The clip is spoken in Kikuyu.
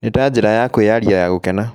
Nĩ ta njĩra ya kwĩyaria ya gũkena.